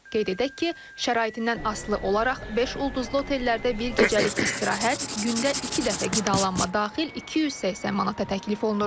Qeyd edək ki, şəraitindən asılı olaraq beş ulduzlu otellərdə bir gecəlik istirahət, gündə iki dəfə qidalanma daxil 280 manata təklif olunur.